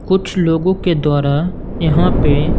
कुछ लोगों के द्वारा यहां पे--